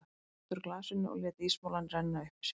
Hann tæmdi úr glasinu og lét ísmolann renna upp í sig.